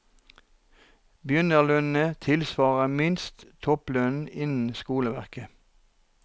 Begynnerlønnene tilsvarer minst topplønnen innen skoleverket.